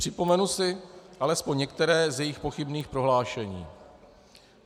Připomenu si alespoň některé z jejích pochybných prohlášení.